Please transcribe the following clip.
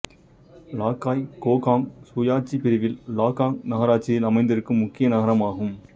லாக்காய் Kokang சுயாட்சிப் பிரிவில் Laukkaing நகராட்சியில் அமைந்திருக்கும் முக்கிய நகரமாகும்